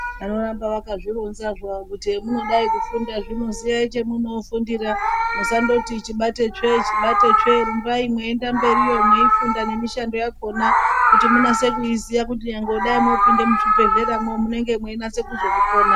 Vanoramba vakazvironza havo kuti hemunodai kufunda hino ziyai chemunofundira musangoti chibate tsve chibate tsve rumbai meienda mberiyo meifunda mishando yakona kuti munyaso kuziya kuti urambe wakadai unge meinyaso kuzoiona.